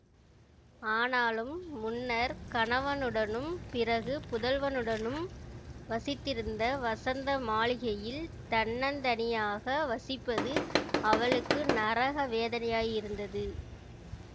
ஆனாலும் முன்னர் கணவனுடனும் பிறகு புதல்வனுடனும் வசித்திருந்த வசந்த மாளிகையில் தன்னந்தனியாக வசிப்பது அவளுக்கு நரக வேதனையாயிருந்தது